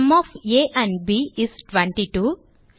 sum of a and b is 22